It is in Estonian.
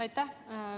Aitäh!